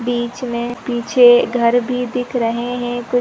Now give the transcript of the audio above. बीच में पीछे घर भी दिख रहे हैं कुछ --